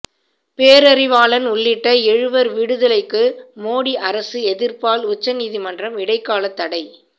பேரறிவாளன் உள்ளிட்ட எழுவர் விடுதலைக்கு மோடி அரசு எதிர்ப்பால் உச்ச நீதிமன்றம் இடைக்காலத் தடை